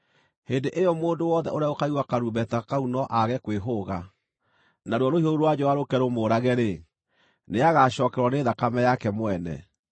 hĩndĩ ĩyo mũndũ wothe ũrĩa ũkaigua karumbeta kau no aage kwĩhũga, naruo rũhiũ rũu rwa njora rũũke rũmũũrage-rĩ, nĩagacookererwo nĩ thakame yake mwene.